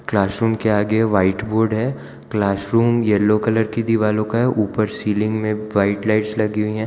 Classroom के आगे white board है क्लासरूम येलो कलर की दीवालो का है ऊपर सीलिंग में व्हाइट लाइट्स लगी हुई है।